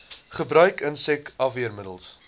gebruik insek afweermiddels